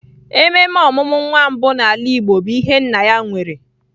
Ememe ọmụmụ nwa mbụ n'ala Igbo bụ ihe nna ya nwere.